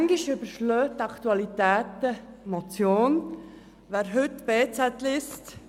In der heutigen «Berner Zeitung (BZ)» steht: